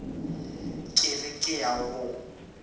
ke re ke ya go